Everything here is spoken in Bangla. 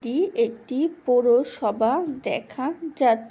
এটি একটি পৌরসভা দেখা যাচ্--